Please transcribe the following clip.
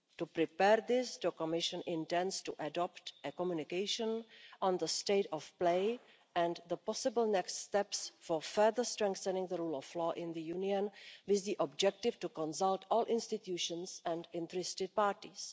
To prepare this, the Commission intends to adopt a communication on the state of play and the possible next steps for further strengthening the rule of law in the Union, with the objective of consulting all institutions and interested parties.